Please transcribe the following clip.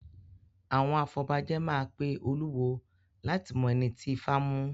Àwọn afọbajẹ máa pe olúwo láti mọ ẹni ti Ifá mu.